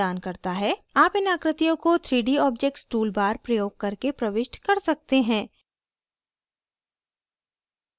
आप इन आकृतियों को 3d objects toolbar प्रयोग करके प्रविष्ट कर सकते हैं